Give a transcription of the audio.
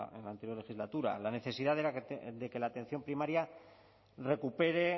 en la anterior legislatura la necesidad de que la atención primaria recupere